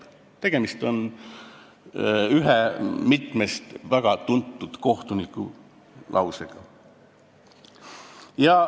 " Tegemist on ühe väga tuntud kohtuniku sõnadega.